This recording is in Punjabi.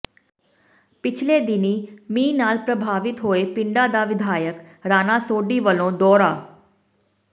ਪਿਛਲੇ ਦਿਨੀਂ ਮੀਂਹ ਨਾਲ ਪ੍ਰਭਾਵਿਤ ਹੋਏ ਪਿੰਡਾਂ ਦਾ ਵਿਧਾਇਕ ਰਾਣਾ ਸੋਢੀ ਵੱਲੋਂ ਦੌਰਾ